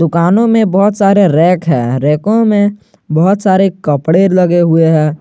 दुकानों में बहुत सारे रैक है रैकों में बहुत सारे कपड़े लगे हुए हैं।